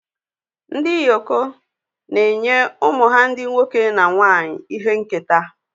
Ndị Yoko na-enye ụmụ ha ndị nwoke na nwanyị ihe nketa